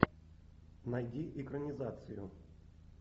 найди экранизацию